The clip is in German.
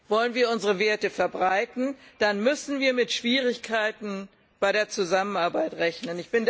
Wollen wir unsere Werte verbreiten, dann müssen wir mit Schwierigkeiten bei der Zusammenarbeit rechnen.